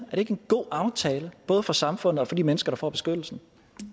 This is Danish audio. ikke en god aftale både for samfundet og for de mennesker der får beskyttelse